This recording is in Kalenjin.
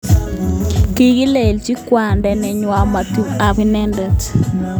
Kilenji kwanda neywon matkotepi ak inendet.